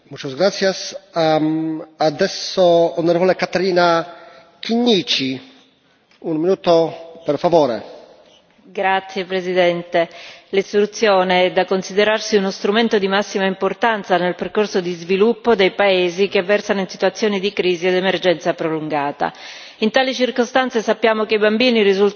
Signor Presidente, onorevoli colleghi, l'istruzione è da considerarsi uno strumento di massima importanza nel percorso di sviluppo dei paesi che versano in situazioni di crisi ed emergenza prolungata. In tali circostanze, sappiamo che i bambini risultano essere i soggetti più vulnerabili, spesso vittime di abusi e di sfruttamento,